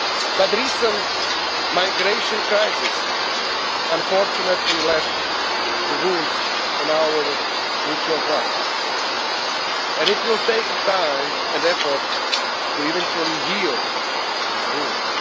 next. But the recent migration crisis unfortunately left wounds on our mutual trust. And it will take time and effort to eventually heal these